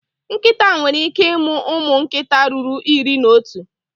Nkịta nwere ike ịmụ ụmụ nkịta ruru iri na otu.